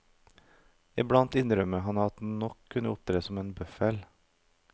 I blant innrømmer han at han nok kan opptre som en bøffel.